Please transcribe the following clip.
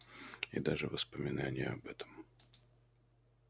и даже воспоминание об этом